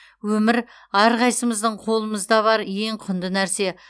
өмір әрқайсымыздың қолымызда бар ең құнды нәрсе